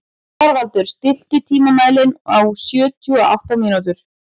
Þorvaldur, stilltu tímamælinn á sjötíu og átta mínútur.